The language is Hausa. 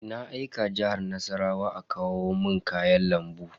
Na aika Jihar Nassarawa a kawo mun kayan lambu.